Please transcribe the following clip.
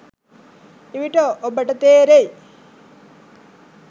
එවිට ඔබට තේරෙයි